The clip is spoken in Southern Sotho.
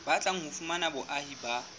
batlang ho fumana boahi ba